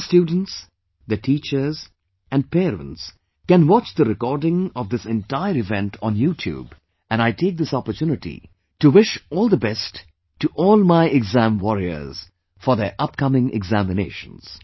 All the students, their teachers and parents can watch the recording of this entire event on YouTube, and I take this opportunity to wish all the best to all my'exam warriors', for their upcoming examinations